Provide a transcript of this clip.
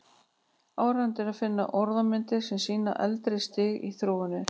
Áríðandi er að finna orðmyndir sem sýna eldra stig í þróuninni.